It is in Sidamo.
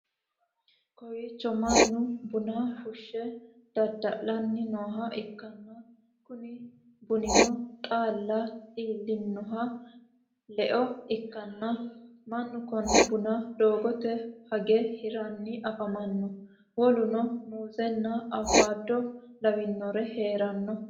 kowiicho mannu buna fushshe dadda'lanni nooha ikkanna, kuni bunino xaalla iillinoho leo ikkanna, mannu kone buna doogote hage hiranni afamanno, woluno muuzenna awukaado lawinorino hee'ranna.